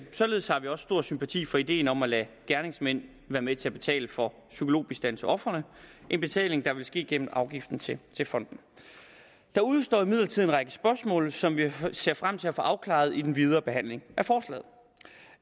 således har vi også stor sympati for ideen om at lade gerningsmænd være med til at betale for psykologbistand til ofrene en betaling der vil ske gennem afgiften til fonden der udestår imidlertid en række spørgsmål som vi ser frem til at få afklaret i den videre behandling